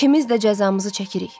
İkimiz də cəzamızı çəkirik.